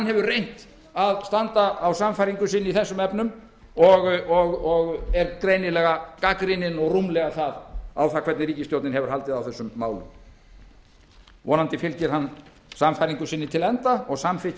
hefur reynt að standa á sannfæringu sinni í þessum efnum og er greinilega gagnrýninn og rúmlega það á það hvernig ríkisstjórnin hefur haldið á þessum málum vonandi fylgir hann sannfæringu sinni til enda og samþykkir